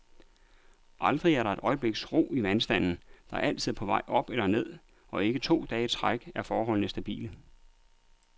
Aldrig er der et øjebliks ro i vandstanden, der altid er på vej op eller ned, og ikke to dage i træk er forholdene stabile.